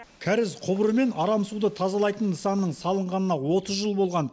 кәріз құбыры мен арам суды тазалайтын нысанның салынғанына отыз жыл болған